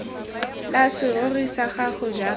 la serori sa gago jaaka